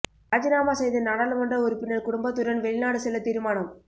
இராஜினாமா செய்த நாடாளுமன்ற உறுப்பினர் குடும்பத்துடன் வெளிநாடு செல்ல தீர்மானம்